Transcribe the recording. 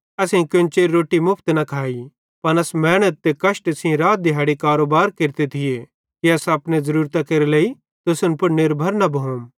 असेईं कोन्चेरी रोट्टी मुफ्त न खाइ पन अस मेहनत ते कष्टे सेइं रात दिहैड़ी कारोबार केरते थिये कि अस अपने ज़रूरतां केरे लेइ तुसन पुड़ निर्भर न भोम